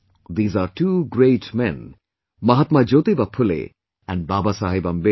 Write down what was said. These are two great men Mahatma Jyotiba Phule, and Babasaheb Ambedkar